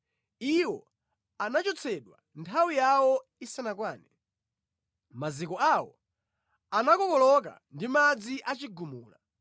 Iwo anachotsedwa nthawi yawo isanakwane, maziko awo anakokoloka ndi madzi achigumula.